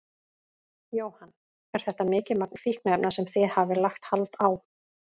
Jóhann: Er þetta mikið magn fíkniefna sem þið hafið lagt hald á?